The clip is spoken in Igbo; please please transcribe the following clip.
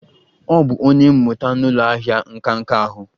Ọ bụ onye mmụta n'ụlọ ahịa nka nka ahụ